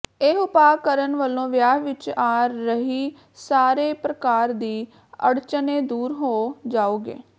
ਇਹ ਉਪਾਅ ਕਰਣ ਵਲੋਂ ਵਿਆਹ ਵਿੱਚ ਆ ਰਹੀ ਸਾਰੇ ਪ੍ਰਕਾਰ ਦੀ ਅੜਚਨੇ ਦੂਰ ਹੋ ਜਾਓਗੇ